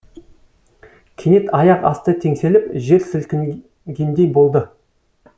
кенет аяқ асты теңселіп жер сілкінгендей болды